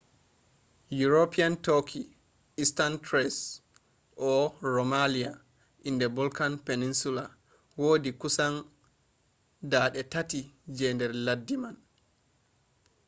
european turkey eastern thrace or rumelia in the balkan peninsula wodi kusan 3% je nder laddi mai